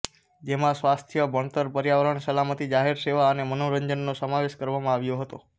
જેમાં સ્વાસ્થ્ય ભણતર પર્યાવરણ સલામતી જાહેર સેવા અને મનોરંજનનો સમાવેશ કરવામાં આવ્યો હતો